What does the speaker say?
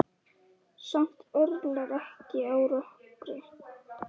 Samt örlar ekki á rökkri.